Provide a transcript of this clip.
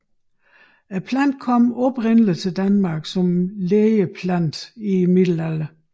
Planten kom oprindelig til Danmark som lægeplante i middelalderen